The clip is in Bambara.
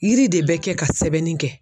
Yiri de bɛ kɛ ka sɛbɛnni kɛ.